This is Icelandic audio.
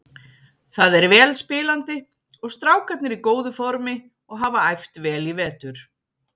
Það er vel spilandi og strákarnir í góðu formi og hafa æft vel í vetur.